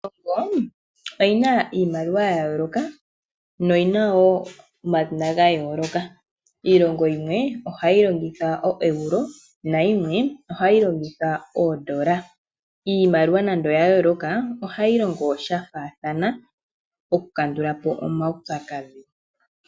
Iilongo oyina iimaliwa ya yooloka no yina wo omadhina ga yooloka. Iilongo yimwe ohayi longitha o Euro nayimwe ohayi longitha oondola iimaliwa nando oya yooloka ohayi longo sha faathana oku kandulapo omaupyakadhi.